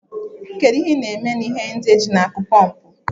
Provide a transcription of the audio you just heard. Kedu ihe ị na-eme na ihe ndị a eji na-akụ pọmpụ?